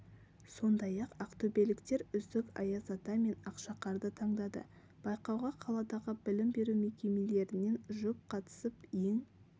сондай-ақ ақтөбеліктер үздік аяз ата мен ақшақарды таңдады байқауға қаладағы білім беру мекемелерінен жұп қатысып ең